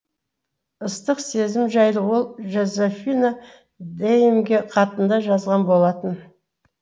ыстық сезімі жайлы ол жозефина деймге хатында жазған болатын